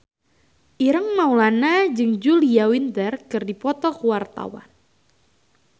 Ireng Maulana jeung Julia Winter keur dipoto ku wartawan